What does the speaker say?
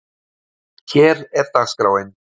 Hér er dagskráin: